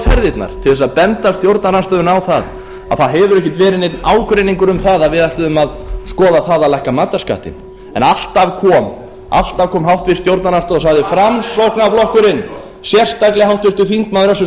ferðirnar til þess að benda stjórnarandstöðunni á að það hefur ekkert verið neinn ágreiningur um það að við ætluðum að skoða það að lækka matarskattinn en alltaf kom háttvirtur stjórnarandstaða og sagði framsóknarflokkurinn sérstaklega háttvirtur þingmaður össur